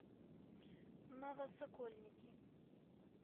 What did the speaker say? новосокольники